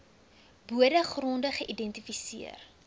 bode gronde geïdentifiseer